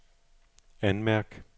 anmærk